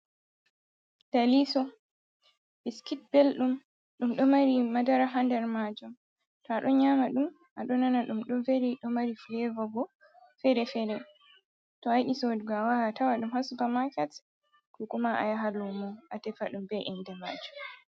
Deliiso biskit belɗum, ɗum ɗo mari madara haa nder maajum. To a ɗo nyaama ɗum, a ɗo nana ɗum ɗo veli, ɗo mari fuleevo bo fere-fere. To a yiɗi a sooda, a wawan a tawa ɗum haa supamaket, ko kuma a yaha luumo a tefa ɗum, be innde maajum.